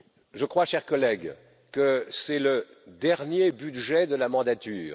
Je crois, chers collègues, que c'est le dernier budget de la mandature.